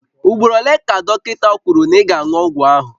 Ugboro ole ka dọkịta kwuru na ị ga-aṅụ ọgwụ ahụ?